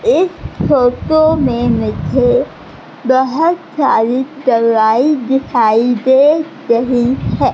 इस फोटो में मुझे बहोत सारी दवाई दिखाई दे रही है।